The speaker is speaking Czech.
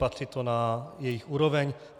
Patří to na jejich úroveň.